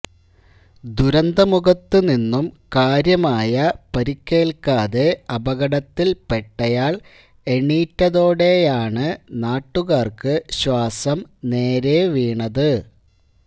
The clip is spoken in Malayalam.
ദുരന്തമുഖത്ത് നിന്നും കാര്യമായ പരിക്കേൽക്കാതെ അപകടത്തിൽപെട്ടയാൾ എണീറ്റതോടെയാണ് നാട്ടുകാർക്ക് ശ്വാസം നേരെവീണത്